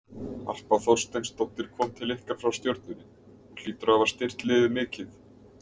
Harpa Þorsteinsdóttir kom til ykkar frá Stjörnunni, hún hlýtur að hafa styrkt liðið mikið?